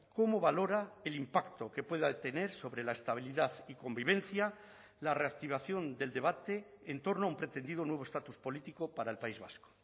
cómo valora el impacto que pueda tener sobre la estabilidad y convivencia la reactivación del debate en torno a un pretendido nuevo estatus político para el país vasco